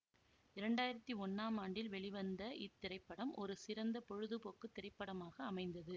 இரண்டாயிரத்தி ஒன்னாம் ஆண்டில் வெளிவந்த இத்திரைப்படம் ஒரு சிறந்த பொழுதுபோக்கு திரைப்படமாக அமைந்தது